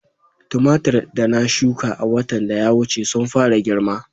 Tumatir da na shuka a watan da ya wuce sun fara girma